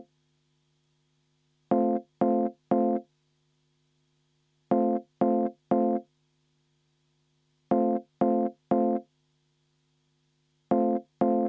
V a h e a e g